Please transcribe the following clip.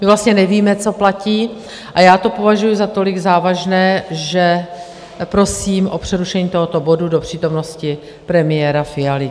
My vlastně nevíme, co platí, a já to považuji za tolik závažné, že prosím o přerušení tohoto bodu do přítomnosti premiéra Fialy.